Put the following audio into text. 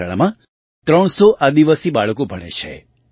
આ શાળામાં 300 આદિવાસી બાળકો ભણે છે